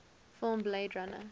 film blade runner